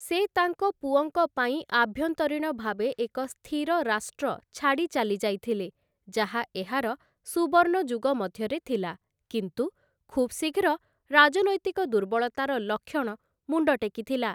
ସେ ତାଙ୍କ ପୁଅଙ୍କ ପାଇଁ ଆଭ୍ୟନ୍ତରୀଣ ଭାବେ ଏକ ସ୍ଥିର ରାଷ୍ଟ୍ର ଛାଡ଼ି ଚାଲିଯାଇଥିଲେ, ଯାହା ଏହାର ସୁବର୍ଣ୍ଣ ଯୁଗ ମଧ୍ୟରେ ଥିଲା, କିନ୍ତୁ ଖୁବ୍‌ ଶୀଘ୍ର ରାଜନୈତିକ ଦୁର୍ବଳତାର ଲକ୍ଷଣ ମୁଣ୍ଡଟେକିଥିଲା ।